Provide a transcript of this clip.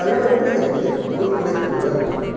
தழுவவில்லை என்பது ஒரு குறைகூறல்